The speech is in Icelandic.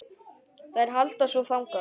Þær halda svo þangað.